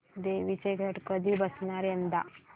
देवींचे घट कधी बसणार यंदा